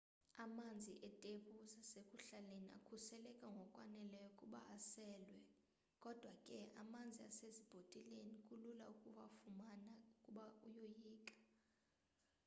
amanzi etephu zasekuhlaleni akhuseleke ngokwaneleyo ukuba aselwe kodwa ke amanzi asezibhotileni kulula ukuwafumana ukuba uyoyika